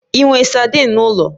Ị nwe sadin n'ụlọ?